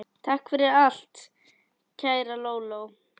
Takk fyrir allt, kæra Lóló.